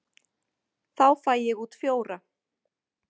Þá fæ ég út fjóra.